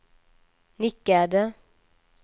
nickade